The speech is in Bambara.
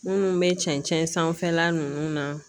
Munnu be cɛncɛn sanfɛla nunnu na.